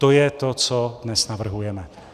To je to, co dnes navrhujeme.